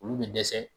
Olu bɛ dɛsɛ